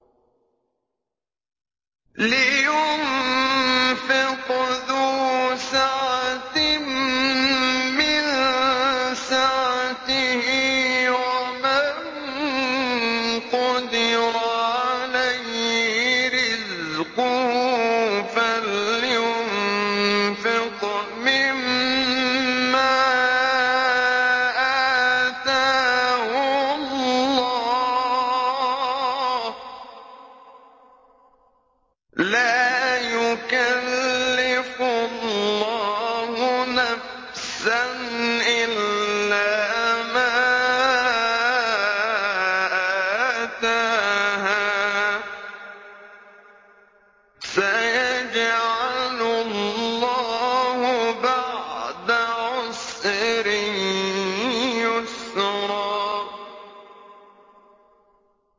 لِيُنفِقْ ذُو سَعَةٍ مِّن سَعَتِهِ ۖ وَمَن قُدِرَ عَلَيْهِ رِزْقُهُ فَلْيُنفِقْ مِمَّا آتَاهُ اللَّهُ ۚ لَا يُكَلِّفُ اللَّهُ نَفْسًا إِلَّا مَا آتَاهَا ۚ سَيَجْعَلُ اللَّهُ بَعْدَ عُسْرٍ يُسْرًا